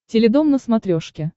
теледом на смотрешке